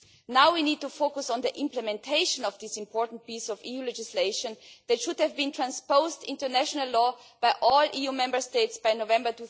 We now need to focus on the implementation of this important piece of EU legislation, which should have been transposed into national law by all EU Member States by November